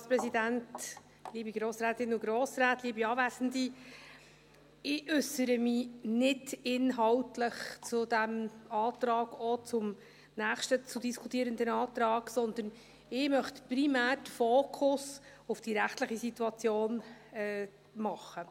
Ich äussere mich nicht inhaltlich zu diesem Antrag, auch nicht zum nächsten zu diskutierenden Antrag, sondern ich möchte primär den Fokus auf die rechtliche Situation legen.